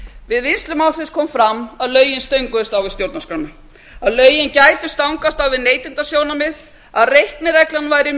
við vinnslu málsins kom fram að lögin stönguðust á við stjórnarskrána að lögin gætu stangast á við neytendasjónarmið að reiknireglan væri